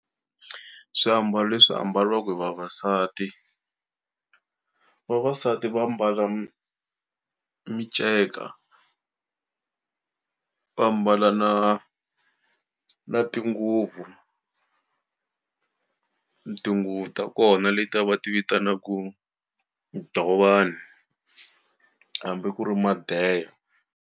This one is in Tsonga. Swiambalo leswi ambaliwaku hi vavasati, vavasati va mbala miceka va mbala na na tinguvu, tinguvu ta kona letiya va ti vitanaku dovani hambi ku ri madeya.